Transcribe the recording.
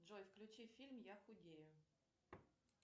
джой включи фильм я худею